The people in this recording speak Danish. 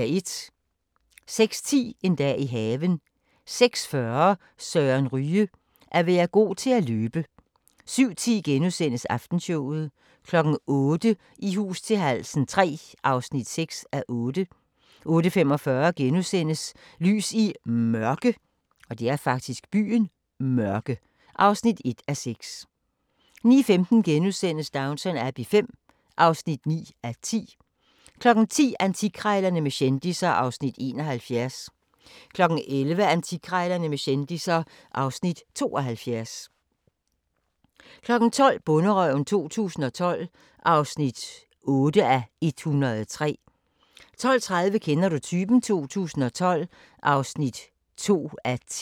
06:10: En dag i haven 06:40: Søren Ryge: At være god til at løbe 07:10: Aftenshowet * 08:00: I hus til halsen III (6:8) 08:45: Lys i Mørke (1:6)* 09:15: Downton Abbey V (9:10)* 10:00: Antikkrejlerne med kendisser (Afs. 71) 11:00: Antikkrejlerne med kendisser (Afs. 72) 12:00: Bonderøven 2012 (8:103) 12:30: Kender du typen? 2012 (2:10)